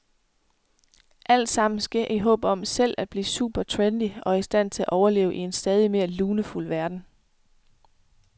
Alt sammen sker i håb om selv at blive super trendy og i stand til at overleve i en stadig mere lunefuld verden.